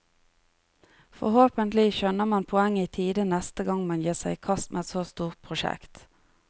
Forhåpentlig skjønner man poenget i tide neste gang man gir seg i kast med et så stort prosjekt.